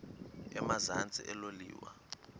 emazantsi elo liwa